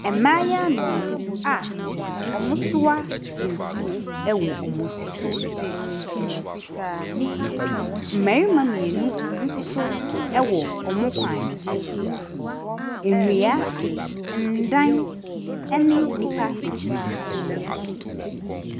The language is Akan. Mmea, mmayewa baanu a wɔte hɔ; ɔbaako te akonnwa so na ɔfoforo te fam. Na nea ɔte akonnwa no so no kita afe a ɔɔde apae nea ɔte hɔ no ne ti ho a ɔrebɔ ne ti ama no.